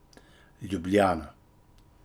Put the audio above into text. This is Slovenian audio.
Ljubljana.